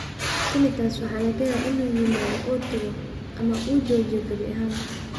Tinnitus waxaa laga yaabaa inuu yimaado oo tago, ama uu joojiyo gebi ahaanba.